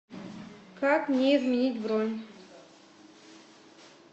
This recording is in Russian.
как мне изменить бронь